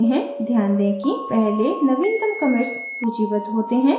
ध्यान दें कि पहले नवीनतम commits सूचीबद्ध होते हैं